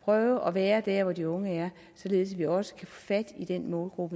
og prøve på at være der hvor de unge er således at vi også kan få fat i den målgruppe